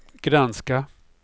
granska